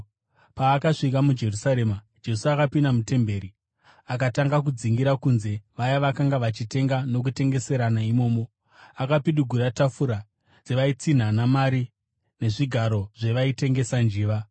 Paakasvika muJerusarema, Jesu akapinda mutemberi akatanga kudzingira kunze vaya vakanga vachitenga nokutengeserana imomo. Akapidigura tafura dzevaitsinhana mari nezvigaro zvevaitengesa njiva,